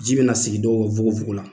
Ji bɛna na sigi dɔw wogowogola